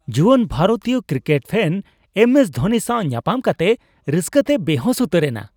ᱡᱩᱣᱟᱹᱱ ᱵᱷᱟᱨᱛᱤᱭᱚ cricket fan M S Dhoni ᱥᱟᱶ ᱧᱟᱯᱟᱢ ᱠᱟᱛᱮ ᱨᱟᱹᱥᱠᱟᱹ ᱛᱮᱭ ᱵᱮᱦᱩᱸᱥ ᱩᱛᱟᱹᱨᱮᱱᱟ ᱾